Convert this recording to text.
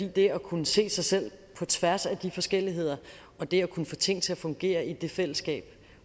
og det at kunne se sig selv på tværs af de forskelligheder og det at kunne få ting til at fungere i det fællesskab